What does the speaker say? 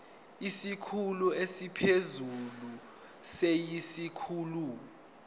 isikhulu esiphezulu siyisikhulu